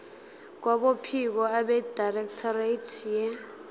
kwabophiko abedirectorate ye